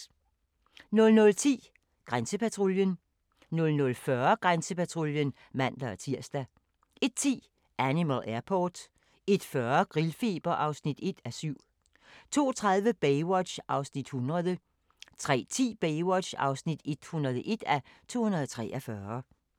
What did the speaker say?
00:10: Grænsepatruljen 00:40: Grænsepatruljen (man-tir) 01:10: Animal Airport 01:40: Grillfeber (1:7) 02:30: Baywatch (100:243) 03:10: Baywatch (101:243)